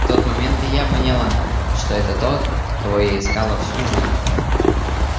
в тот момент я и поняла что это тот кого я искала всю жизнь